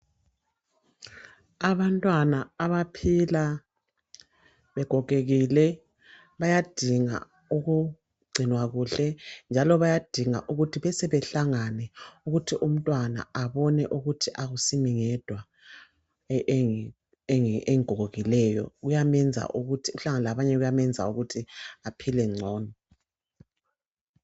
Abantwana abaphila begogekile, bayadinga ukugcinwa kuhle, njalo bayadinga ukuthi bese behlangane, kuthi umntwana abone ukuthi akusimi ngedwa engigogekileyo. Ukuhlangana labanye kuyamenza ukuthi aphile ngcono.